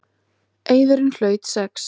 Eiðurinn hlaut sex.